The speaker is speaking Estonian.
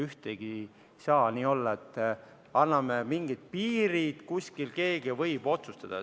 Ei saa nii olla, et anname mingid piirid ja kuskil keegi võib otsustada.